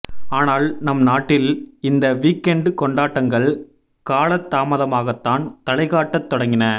ஆனால் நம் நாட்டில் இந்த வீக் எண்ட் கொண்டாட்டங்கள் காலதாமதமாகத்தான் தலைகாட்டத் தொடங்கின